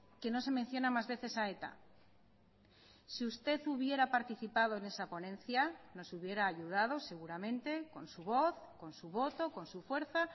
que no se menciona más veces a eta si usted hubiera participado en esa ponencia nos hubiera ayudado seguramente con su voz con su voto con su fuerza